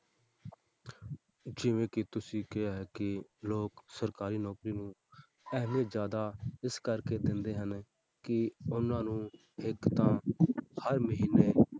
ਜਿਵੇਂ ਕਿ ਤੁਸੀਂ ਕਿਹਾ ਕਿ ਲੋਕ ਸਰਕਾਰੀ ਨੌਕਰੀ ਨੂੰ ਅਹਿਮੀਅਤ ਜ਼ਿਆਦਾ ਇਸ ਕਰਕੇ ਦਿੰਦੇ ਹਨ ਕਿ ਉਹਨਾਂ ਨੂੰ ਇੱਕ ਤਾਂ ਹਰ ਮਹੀਨੇ